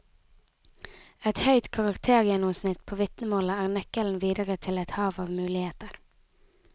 Et høyt karaktergjennomsnitt på vitnemålet er nøkkelen videre til et hav av muligheter.